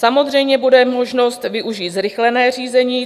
Samozřejmě bude možnost využít zrychlené řízení.